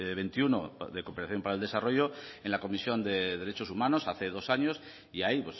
veintiuno de cooperación para el desarrollo en la comisión de derechos humanos hace dos años y ahí